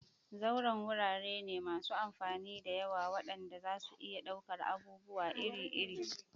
Zauren wurare ne masu amfani da yawa waɗanda zasu iya ɗaukar abubuwa iri-iri.